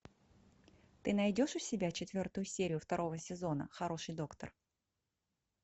ты найдешь у себя четвертую серию второго сезона хороший доктор